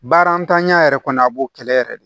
Baara ntanya yɛrɛ kɔni a b'o kɛlɛ yɛrɛ de